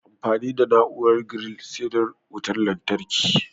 Amfani da na'uaran giril sai da wutan lantarki